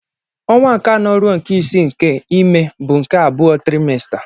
Ọnwa nke anọ ruo nke isii nke ime bụ nke abụọ trimester.